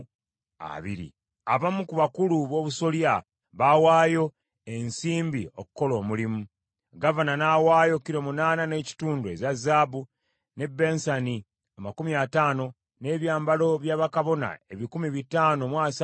Abamu ku bakulu b’obusolya baawaayo ensimbi okukola omulimu. Gavana n’awaayo, kilo munaana n’ekitundu eza zaabu, n’ebbensani amakumi ataano (50), n’ebyambalo bya bakabona ebikumi bitaano mu asatu (530) mu ggwanika.